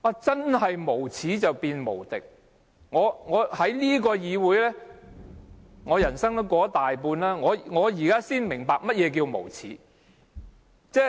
真是無耻便無敵，我在這個議會裏度過了大半人生，我現在才明白，何謂無耻。